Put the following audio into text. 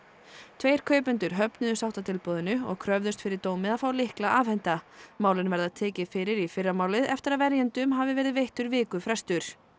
tveir kaupendur höfnuðu og kröfðust fyrir dómi að fá lykla afhenta málin verða tekin fyrir í fyrramálið eftir að verjendum hafði verið veittur viku frestur